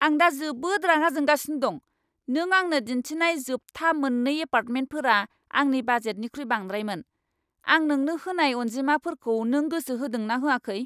आं दा जोबोद रागा जोंगासिनो दं। नों आंनो दिन्थिनाय जोबथा मोन्नै एपार्टमेन्टफोरा आंनि बाजेटनिख्रुइ बांद्रायमोन। आं नोंनो होनाय अनजिमाफोरखौ नों गोसो होदों ना होआखै?